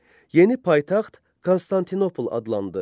Yeni paytaxt Konstantinopol adlandı.